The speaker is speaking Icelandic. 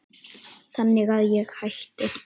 Þannig að ég hætti.